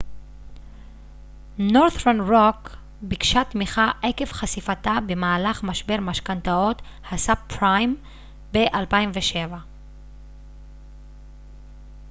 נורת'רן רוק ביקשה תמיכה עקב חשיפתה במהלך משבר משכנתאות הסאב-פריים ב-2007